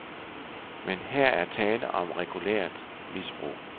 Men her er tale om regulært misbrug.